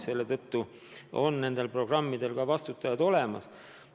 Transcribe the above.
Selle tõttu on nendel programmidel ka vastutajad olemas.